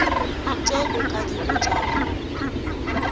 tše o ka di botšago